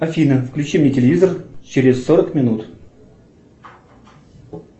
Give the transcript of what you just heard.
афина включи мне телевизор через сорок минут